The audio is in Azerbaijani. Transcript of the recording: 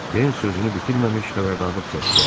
Den sözünü bitirməmiş xəbərdarlıq səsi gəldi.